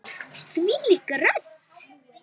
Þvílík rödd!